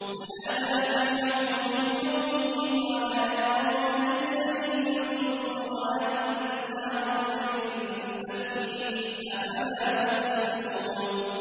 وَنَادَىٰ فِرْعَوْنُ فِي قَوْمِهِ قَالَ يَا قَوْمِ أَلَيْسَ لِي مُلْكُ مِصْرَ وَهَٰذِهِ الْأَنْهَارُ تَجْرِي مِن تَحْتِي ۖ أَفَلَا تُبْصِرُونَ